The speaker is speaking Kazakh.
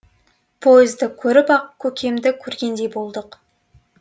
поезды көріп ақ көкемді көргендей болдық